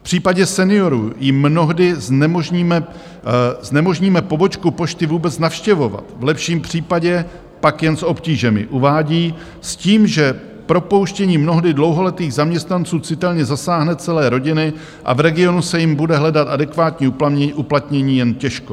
V případě seniorů jim mnohdy znemožníme pobočku pošty vůbec navštěvovat, v lepším případě pak jen s obtížemi," uvádí s tím, že propouštění mnohdy dlouholetých zaměstnanců citelně zasáhne celé rodiny a v regionu se jim bude hledat adekvátní uplatnění jen těžko.